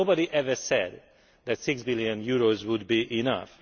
But nobody ever said that EUR 6 billion would be enough.